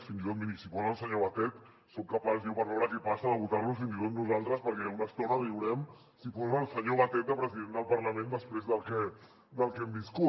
fins i tot mirin si posen el senyor batet soc capaç jo per veure què passa de votar lo fins i tot nosaltres perquè una estona riurem si posen el senyor batet de president del parlament després del que hem viscut